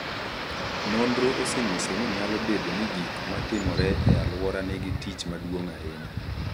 Nonro osenyiso ni nyalo bedo ni gik ma timore e alwora nigi tich maduong’ ahinya.